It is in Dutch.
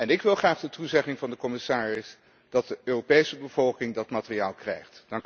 Ik wil graag de toezegging van de commissaris dat de Europese bevolking dat materiaal krijgt.